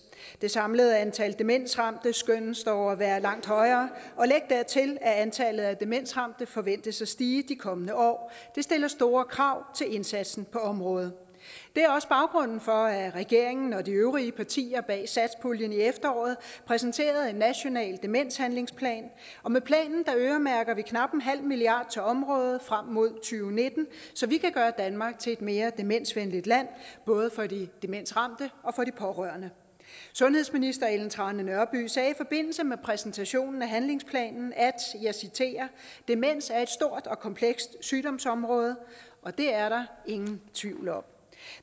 det samlede antal demensramte skønnes dog at være langt højere og læg dertil at antallet af demensramte forventes at stige de kommende år det stiller store krav til indsatsen på området det er også baggrunden for at regeringen og de øvrige partier bag satspuljen i efteråret præsenterede en national demenshandlingsplan og med planen øremærker vi knap en halv milliard kroner til området frem mod og nitten så vi kan gøre danmark til et mere demensvenligt land både for de demensramte og for de pårørende sundhedsministeren sagde i forbindelse med præsentationen af handlingsplanen at demens er et stort og komplekst sygdomsområde det er der ingen tvivl om